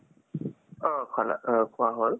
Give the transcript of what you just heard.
অ খুৱা হ'ল